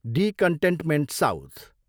D containment south.